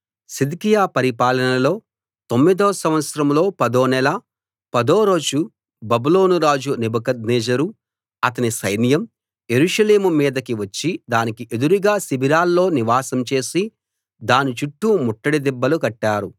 సిద్కియా పరిపాలనలో తొమ్మిదో సంవత్సరంలో పదో నెల పదో రోజు బబులోను రాజు నెబుకద్నెజరు అతని సైన్యం యెరూషలేము మీదకి వచ్చి దానికి ఎదురుగా శిబిరాల్లో నివాసం చేసి దాని చుట్టూ ముట్టడి దిబ్బలు కట్టారు